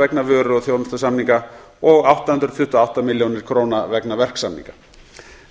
vegna vöru og þjónustusamninga og átta hundruð tuttugu og átta milljónir króna vegna verksamninga